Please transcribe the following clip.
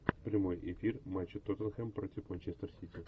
прямой эфир матча тоттенхэм против манчестер сити